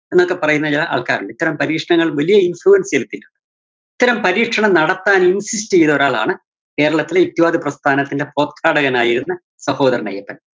എന്നൊക്കെപ്പറയുന്ന ചെല ആള്‍ക്കാരൊണ്ട്. ഇത്തരം പരീക്ഷണങ്ങള്‍ വലിയ influence ചെലുത്തില്ല. ഇത്തരം പരീക്ഷണം നടത്താനും ചെയ്തൊരാളാണ്‌ കേരളത്തിലെ യുക്തിവാദ പ്രസ്ഥാനത്തിന്റെ ടകനായിരുന്ന സഹോദരന്‍ അയ്യപ്പന്‍.